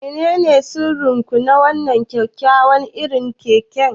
Menene sirrin ku na wannan kyakkyawan irin kek?